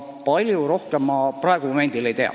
Rohkemaid ma momendil ei tea.